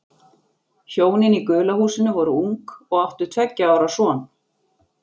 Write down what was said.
Hjónin í gula húsinu voru ung og áttu tveggja ára son.